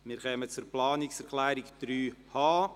Wir kommen zu Planungserklärung 3.h.